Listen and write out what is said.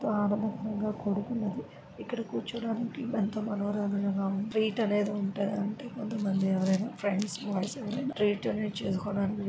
ఇక్కడ కొడుకున్నది ఇక్కడ కూర్చోడానికి వనమాలి లాగా ఉంది ఇక్కడ ట్రీట్ అనేది ఉంటదంట కొంతమంది ఎవరైనా ఫ్రెండ్స్ బాయ్స్ ఎవరైనా.